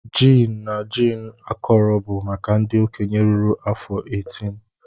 Gin na gin akọrọ bụ maka ndị okenye ruru afọ 18.